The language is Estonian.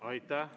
Aitäh!